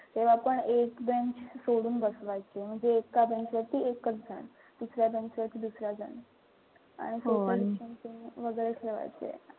तेव्हापण एक जण सोडून बसवायचे. म्हणजे एका bench वरती एकच जण. दुसऱ्या bench वरती दुसरा जण. आणि वगैरे ठेवायचे.